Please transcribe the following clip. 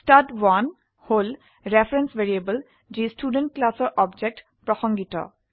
ষ্টাড1 হল reference variable যি student ক্লাসৰ অবজেক্ট প্ৰসঙ্গিত